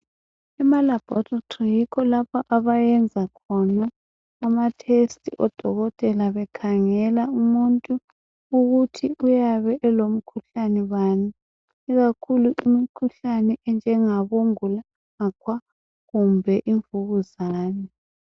Emalaboratory yikho lapha abayenza khona amatest odokotela bekhangela umuntu ukuthi uyabe elomkhuhlane bani. Ikakhulu imkhuhlane enjengabo ngulamakhwa kumbe imvukuzane.